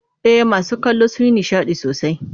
E, masu kallo sun yi nishadi sosai.